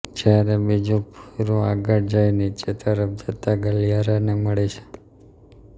જ્યારે બીજું ભોંયરું આગળ જઈ નીચે તરફ જતાં ગલિયારા ને મળે છે